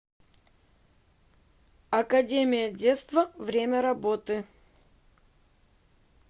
академия детства время работы